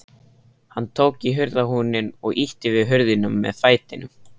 Hann tók í hurðarhúninn og ýtti við hurðinni með fætinum.